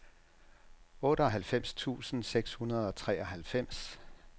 otteoghalvfems tusind seks hundrede og treoghalvfems